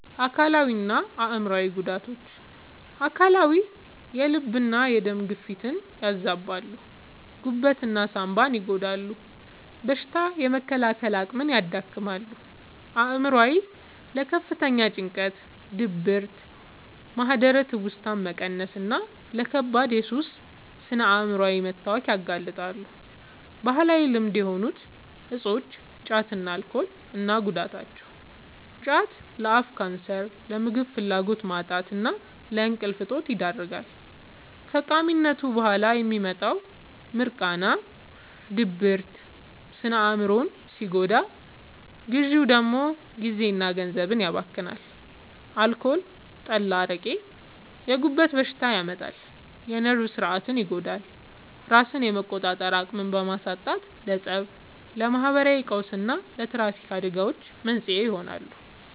አካላዊና አእምሯዊ ጉዳቶች፦ አካላዊ፦ የልብና የደም ግፊትን ያዛባሉ፣ ጉበትና ሳንባን ይጎዳሉ፣ በሽታ የመከላከል አቅምን ያዳክማሉ። አእምሯዊ፦ ለከፍተኛ ጭንቀት፣ ድብርት፣ ማህደረ-ትውስታ መቀነስና ለከባድ የሱስ ስነ-አእምሯዊ መታወክ ያጋልጣሉ። ባህላዊ ልማድ የሆኑ እፆች (ጫትና አልኮል) እና ጉዳታቸው፦ ጫት፦ ለአፍ ካንሰር፣ ለምግብ ፍላጎት ማጣትና ለእንቅልፍ እጦት ይዳርጋል። ከቃሚነቱ በኋላ የሚመጣው «ሚርቃና» (ድብርት) ስነ-አእምሮን ሲጎዳ፣ ግዢው ደግሞ ጊዜና ገንዘብን ያባክናል። አልኮል (ጠላ፣ አረቄ)፦ የጉበት በሽታ ያመጣል፣ የነርቭ ሥርዓትን ይጎዳል፤ ራስን የመቆጣጠር አቅምን በማሳጣትም ለፀብ፣ ለማህበራዊ ቀውስና ለትራፊክ አደጋዎች መንስኤ ይሆናል።